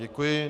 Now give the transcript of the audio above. Děkuji.